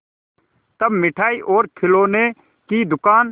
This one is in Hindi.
तब मिठाई और खिलौने की दुकान